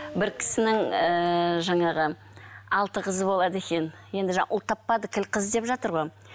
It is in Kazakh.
бір кісінің ііі жаңағы алты қызы болады екен енді жаңа ұл таппады қыз деп жатыр ғой